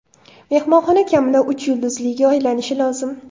Mehmonxona kamida uch yulduzliga aylanishi lozim.